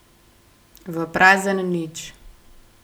V prazen nič!